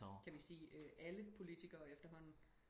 kan vi sige øh alle politikkere efterhånden